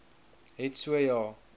het so ja